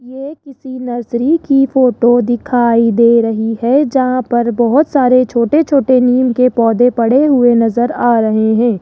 ये किसी नर्सरी की फोटो दिखाई दे रही है जहां पर बहुत सारे छोटे छोटे नीम के पौधे पड़े हुए नज़र आ रहे है।